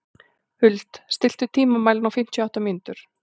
Huld, stilltu tímamælinn á fimmtíu og átta mínútur.